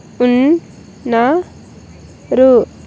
ఉన్-- న్న-- రు.